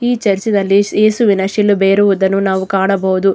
ಈ ಚರ್ಚ್ ನಲ್ಲಿ ಏಸುವಿನ ಶಿಲುಬೆ ಇರುವುದನ್ನು ನಾವು ಕಾಣಬಹುದು.